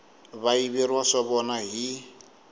va yiveriwa swa vona hi